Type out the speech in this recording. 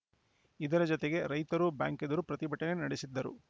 ಇದರ ಜತೆಗೆ ರೈತರೂ ಬ್ಯಾಂಕ್‌ ಎದುರು ಪ್ರತಿಭಟನೆ ನಡೆಸಿದ್ದರು